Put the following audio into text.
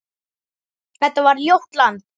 Þetta var ljótt land.